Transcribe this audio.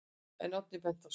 En Oddný benti á að: